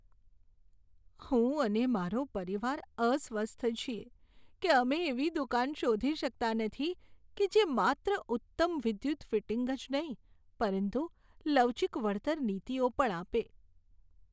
હું અને મારો પરિવાર અસ્વસ્થ છીએ કે અમે એવી દુકાન શોધી શકતા નથી કે જે માત્ર ઉત્તમ વિદ્યુત ફિટિંગ જ નહીં પરંતુ લવચીક વળતર નીતિઓ પણ આપે.